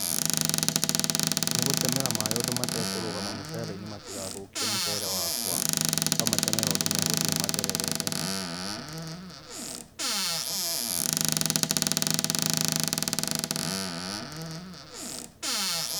Nĩ gũtemera maĩ ũndũ matekũrũgama mũcereinĩ matigathũkie mũcere wakwa, ũkamatemera ũndũ megũthiĩ mathererete.